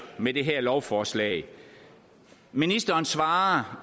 med det her lovforslag ministeren svarer